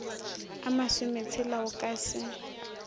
a masometshela o ka se